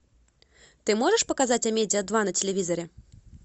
ты можешь показать амедиа два на телевизоре